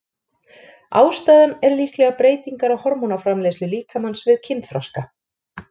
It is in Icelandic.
Ástæðan er líklega breytingar á hormónaframleiðslu líkamans við kynþroska.